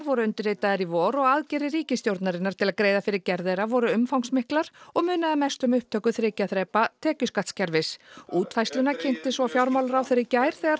voru undirritaðir í vor og aðgerðir ríkisstjórnarinnar til að greiða fyrir gerð þeirra voru umfangsmiklar og munaði mestu um upptöku þriggja þrepa tekjuskattskerfis útfærsluna kynnti svo fjármálaráðherra í gær þegar